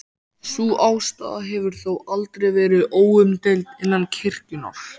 Sú afstaða hefur þó aldrei verið óumdeild innan kirkjunnar.